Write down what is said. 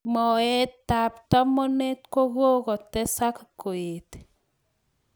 Moet ab tomonet kokokotesek koet.